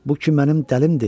Bu ki mənim dəlimdir.